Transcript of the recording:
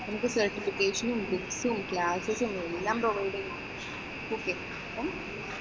നമുക്ക് certificates ഉം books ഉം, എല്ലാം provide ചെയ്യുന്നത്